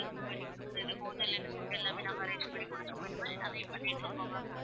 Room book பண்ணிக்குடுக்குறது hotel ல இருந்து food எல்லாமே நாங்க arrange பண்ணி குடுத்துருக்கோம். இந்த மாதிரி நெறைய பண்ணிட்டு இருக்கோம் maam.